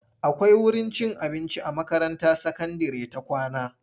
Akwai wurin cin abinci a makaranta sakandire ta kawna.